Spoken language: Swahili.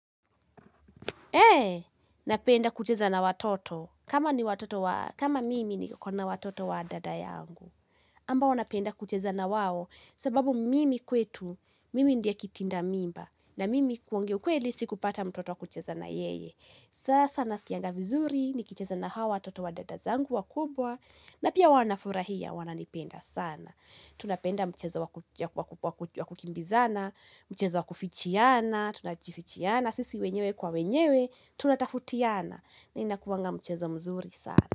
He, napenda kucheza na watoto, kama mimi niko na watoto wa dada yangu. Ambao wanapenda kucheza na wao, sababu mimi kwetu, mimi ndiye kitinda mimba, na mimi kuongea ukweli sikupata mtoto wa kucheza na yeye. Sasa nasikianga vizuri, nikicheza na hawa watoto wa dada zangu wakubwa, na pia wanafurahia, wananipenda sana. Tunapenda mchezo wa kukimbizana, mchezo wakufichiana, tunajifichiana Sisi wenyewe kwa wenyewe, tunatafutiana na inakuanga mchezo mzuri sana.